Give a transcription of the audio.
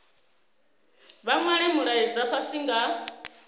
vha nwale mulaedza fhasi nga